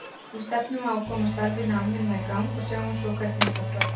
Við stefnum á að koma starfinu almennilega í gang og sjáum svo hvernig þetta þróast.